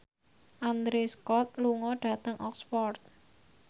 Andrew Scott lunga dhateng Oxford